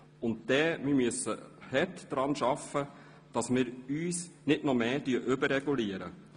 Und wir müssen hart daran arbeiten, dass wir uns nicht noch mehr überregulieren.